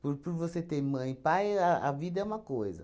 Por por você ter mãe e pai, a a vida é uma coisa.